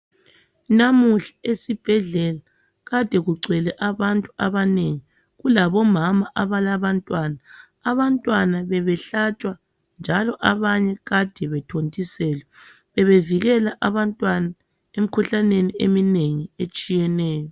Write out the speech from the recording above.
Namuhla esibhedlela kade kugcwele abantu abanengi kulabo mama abalabantwana, abantwana bebehlatshwa njalo abanye kade bethontiselwa bebevikela abantwana emikhuhlaneni eminengi etshiyeneyo.